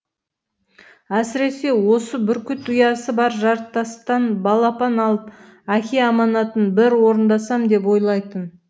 әсіресе осы бүркіт ұясы бар жартастан балапан алып әке аманатын бір орындасам деп ойлайтын